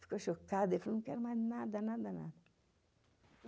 Ficou chocado e falou, não quero mais nada, nada, nada.